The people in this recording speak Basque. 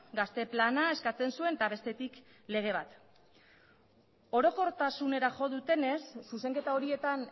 gazte plana eskatzen zuen eta bestetik lege bat orokortasunera jo dutenez zuzenketa horietan